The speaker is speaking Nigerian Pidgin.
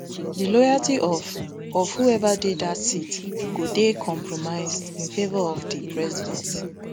di loyalty of of whoever dey dat seat go dey compromised in favour of di president